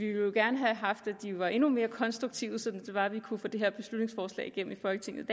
jo gerne have haft at de var endnu mere konstruktive sådan at vi kunne få det her beslutningsforslag igennem i folketinget